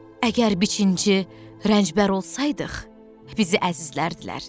Əgər biçinci, rəncbər olsaydıq, bizi əzizlərdir.